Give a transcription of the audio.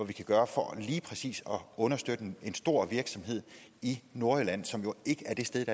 vi kan gøre for lige præcis at understøtte en stor virksomhed i nordjylland som jo ikke er det sted